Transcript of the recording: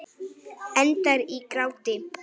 Endar í gráti.